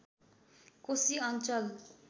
कोशी अञ्चल